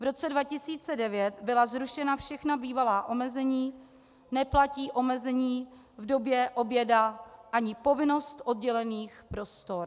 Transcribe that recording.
V roce 2009 byla zrušena všechna bývalá omezení, neplatí omezení v době oběda ani povinnost oddělených prostor.